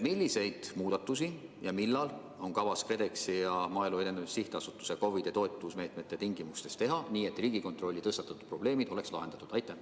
Milliseid muudatusi ja millal on kavas KredExi ja Maaelu Edendamise Sihtasutuse vahendatavate COVID-i toetusmeetmete tingimustes teha, nii et Riigikontrolli tõstatatud probleemid oleks lahendatud?